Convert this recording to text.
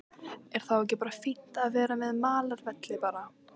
Er þá ekki bara fínt að vera með malarvelli bara?